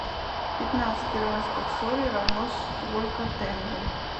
пятнадцать перуанских солей равно столько тенге